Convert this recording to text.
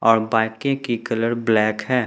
और बाकी की कलर ब्लैक है।